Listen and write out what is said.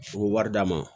U bɛ wari d'a ma